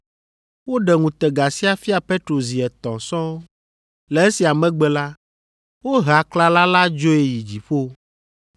Woɖe ŋutega sia fia Petro zi etɔ̃ sɔŋ. Le esia megbe la, wohe aklala la dzoe yi dziƒo.